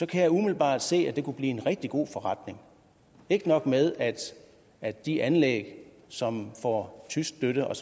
kan jeg umiddelbart se at det kunne blive en rigtig god forretning ikke nok med at at de anlæg som får tysk støtte og